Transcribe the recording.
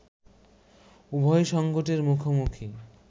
উভয় সংকটের মুখোমুখি